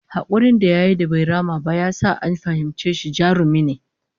Hakurin da yayi bai rama ba ya sa an fahimci shi jarumi ne